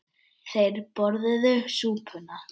Þeir borðuðu súpuna.